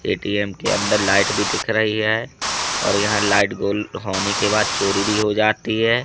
ATM के अंदर light भी दिख रही है और यहां लाइट गुल होने के बाद चोरी भी हो जाती हैं।